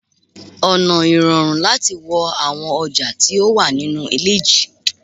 ona irorun lati wo awon oja ti o wa ninu ile ji